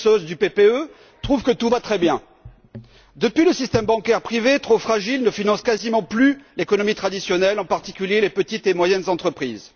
Kyrtsos du PPE trouve que tout va très bien. Depuis, le système bancaire privé, trop fragile, ne finance quasiment plus l'économie traditionnelle, en particulier les petites et moyennes entreprises.